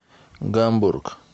гамбург